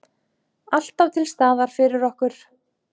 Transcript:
Alltaf til staðar fyrir okkur.